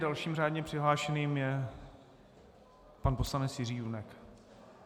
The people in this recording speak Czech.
Dalším řádně přihlášeným je pan poslanec Jiří Junek.